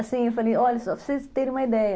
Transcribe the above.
Assim, eu falei, olha só, para vocês terem uma ideia.